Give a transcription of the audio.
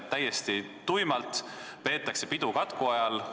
Täiesti tuimalt peetakse nüüd aga pidu katku ajal.